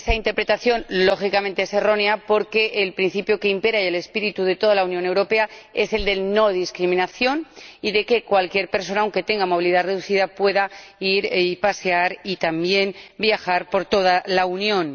Evidentemente, esta interpretación es errónea, porque el principio que impera y el espíritu de toda la Unión Europea es el de no discriminación y el de que cualquier persona, aunque tenga movilidad reducida, pueda ir y pasear, y también viajar, por toda la Unión.